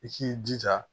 I k'i jija